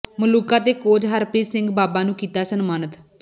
ਮਲੂਕਾ ਤੇ ਕੋਚ ਹਰਪ੍ਰੀਤ ਸਿੰਘ ਬਾਬਾ ਨੂੰ ਕੀਤਾ ਸਨਮਾਨਤ